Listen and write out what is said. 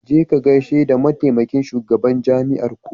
Je ka ka gaishe da mataimakin shugaban jami'arku.